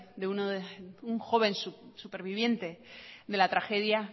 de un joven superviviente de la tragedia